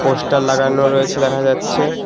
Poster লাগানো রয়েছে দেখা যাচ্ছে।